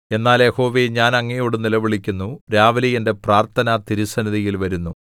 എന്നാൽ യഹോവേ ഞാൻ അങ്ങയോട് നിലവിളിക്കുന്നു രാവിലെ എന്റെ പ്രാർത്ഥന തിരുസന്നിധിയിൽ വരുന്നു